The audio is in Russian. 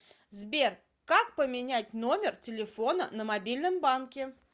сбер как поменять номер телефона на мобильном банке